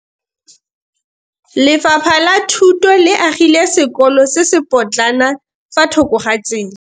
Lefapha la Thuto le agile sekôlô se se pôtlana fa thoko ga tsela.